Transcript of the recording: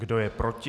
Kdo je proti?